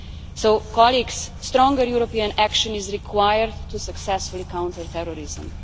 So colleagues, stronger European action is required to successfully counter terrorism.